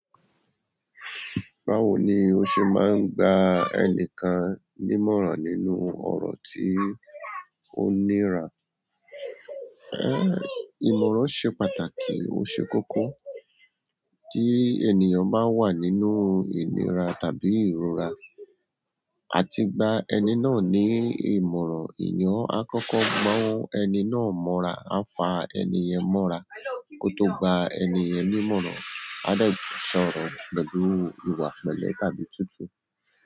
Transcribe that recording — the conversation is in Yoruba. Báwo ni o se maa n gba enikan ni ìmọ̀ràn nínú ọrọ ti onira? Ẹ́, ìmọ̀ràn sẹ́ pàtàkì. Ó ṣe kókó kí ènìyàn ba wà nínú ìnira tàbí ìrora, a ti gba ẹni náà ní ìmọ̀ràn. Ènìyàn á kókó gbọ́ ẹni náà mọ́ra, á fa ẹni ẹ̀yẹn mọ́ra kó tó gba ẹni yẹn nímọ̀ràn. A dẹ̀ sọ̀rọ̀ pẹ̀lú ìwà pẹ̀lẹ́ tàbí tútù.